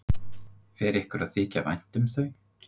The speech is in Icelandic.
Fer ykkur að þykja vænt um þau?